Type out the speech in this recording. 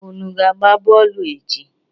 Unu ga-agba bọọlụ echi?